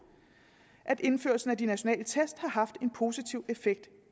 at indførelsen af de nationale test har haft en positiv effekt